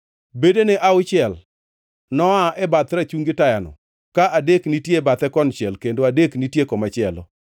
Bedene auchiel noa e bath rachungi tayano, ka adek nitie e bathe konchiel kendo adek nitie komachielo.